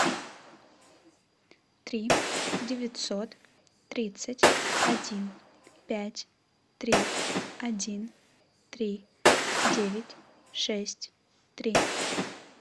три девятьсот тридцать один пять три один три девять шесть три